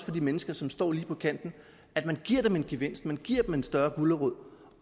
de mennesker som står lige på kanten at man giver dem en gevinst at man giver dem en større gulerod